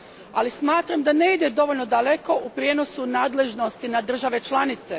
Ali smatram da ne ide dovoljno daleko u prijenosu nadležnosti na države članice.